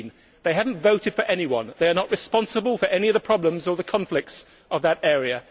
18. They have not voted for anyone. They are not responsible for any of the problems or the conflicts of that area.